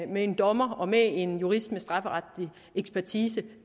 med en dommer og med en jurist med strafferetlig ekspertise